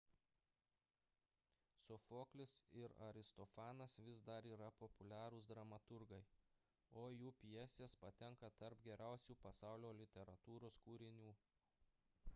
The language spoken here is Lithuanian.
sofoklis ir aristofanas vis dar yra populiarūs dramaturgai o jų pjesės patenka tarp geriausių pasaulio literatūros kūrinių